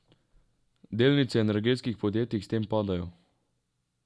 Delnice energetskih podjetij s tem padajo.